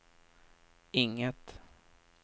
inget